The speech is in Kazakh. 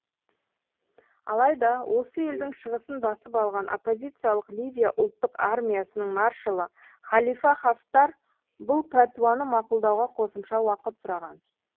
алайда осы елдің шығысын басып алған оппозициялық ливия ұлттық армиясының маршалы халифа хафтар бұл пәтуаны мақұлдауға қосымша уақыт сұраған